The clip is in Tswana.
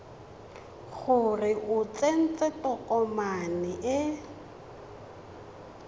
gore o tsentse tokomane e